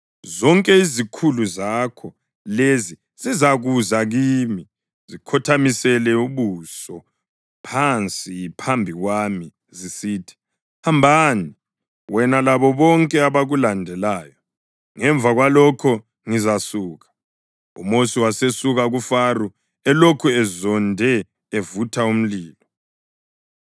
Zonke izikhulu zakho lezi zizakuza kimi zikhothamisele ubuso phansi phambi kwami zisithi, ‘Hambani, wena labo bonke abakulandelayo!’ Ngemva kwalokho ngizasuka.” UMosi wasesuka kuFaro elokhu ezonde evutha umlilo.